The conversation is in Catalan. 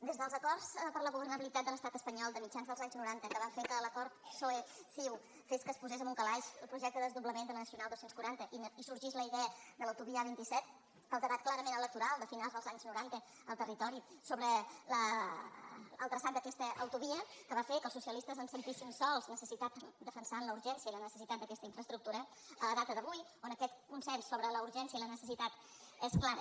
des dels acords per a la governabilitat de l’estat espanyol de mitjans dels anys noranta que van fer que l’acord psoe·ciu fes que es posés en un calaix el projecte de desdoblament de la nacional dos cents i quaranta i sorgís la idea de l’autovia a·vint set el debat clarament electoral de finals dels anys noranta al terri·tori sobre el traçat d’aquesta autovia que va fer que els socialistes ens sentíssim sols defensant la urgència i la necessitat d’aquesta infraestructura a data d’avui on aquest consens sobre la urgència i la necessitat és clar